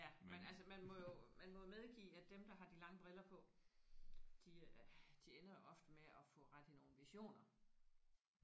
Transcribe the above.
Ja men altså man må jo man må jo medgive at dem der har de lange briller på de de ender jo ofte med at have ret i nogle visioner